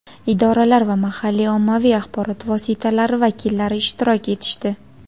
idoralar va mahalliy ommaviy axborot vositalari vakillari ishtirok etishdi.